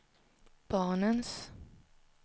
barnens